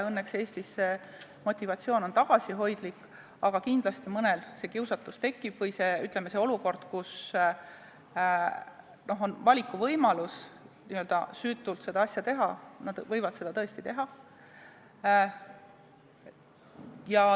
Õnneks on Eestis see motivatsioon tagasihoidlik, aga kindlasti mõnel see kiusatus tekib või kui on võimalus n-ö süütult seda asja teha, siis nad võivad seda tõesti teha.